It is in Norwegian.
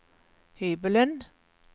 hybelen